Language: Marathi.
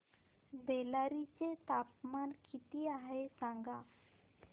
बेल्लारी चे तापमान किती आहे सांगा